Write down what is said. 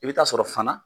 I bɛ taa sɔrɔ fana